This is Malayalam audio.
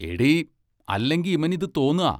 എടീ, അല്ലെങ്കി ഇമനിതു തോന്നാ?